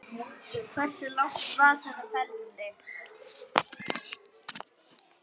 Hversu langt var þetta ferli?